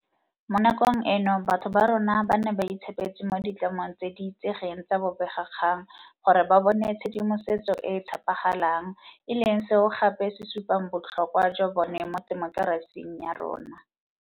Mo nakong eno batho ba rona ba ne ba itshepetse mo ditlamong tse di itsegeng tsa bobegakgang gore ba bone tshedimosetso e e tshepagalang, e leng seo gape se supang botlhokwa jwa bone mo temokerasing ya rona.